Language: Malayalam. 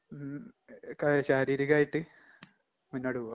ഉം ക ശാരീരികായിട്ട് മുന്നോട്ട് പോവാ.